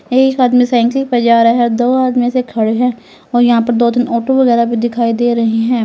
एक आदमी साइकिल पे जा रहा है और दो आदमी ऐसे खड़े हैं और यहां पे दो तीन ऑटो वगैरा भी दिखाई दे रहे हैं।